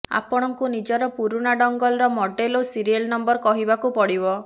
ଆପଣଙ୍କୁ ନିଜର ପୁରୁଣା ଡଙ୍ଗଲର ମଡେଲ ଓ ସିରିୟଲ ନଂବର କହିବାକୁ ପଡିବ